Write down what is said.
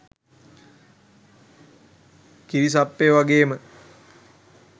කිරි සප්පයෝ වගේම